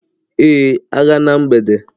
Ee, agha na mgbede